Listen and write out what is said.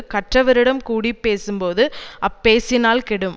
கற்றவரிடம் கூடிபேசும் போது அப்பேசினால் கெடும்